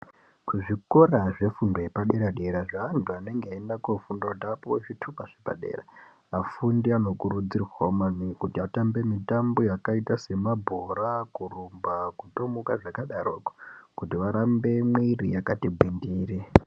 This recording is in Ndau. Kuzvikora zvefundo yepadera dera zveantu anenge eiende kofunda kuti apuwe zvitupa zvepadera afundi anokurudzirwawo maningi kuti atambe mitambo yakaita semabhora kurumba kuthomuka zvakadaroko kuti varambe mwiri yakati gwindiri.